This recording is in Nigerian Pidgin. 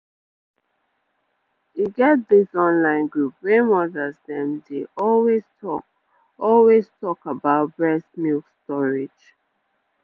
e get this online group wey mothers dem dey always talk always talk about breast milk storage